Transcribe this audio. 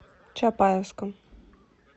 чапаевском